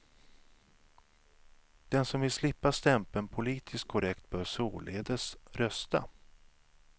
Den som vill slippa stämpeln politiskt korrekt bör således rösta.